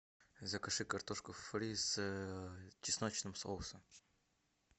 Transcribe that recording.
закажи картошку фри с чесночным соусом